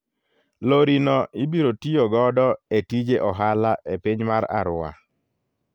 Lori no ibiro tiyo godo e tije ohala e piny mar Arua.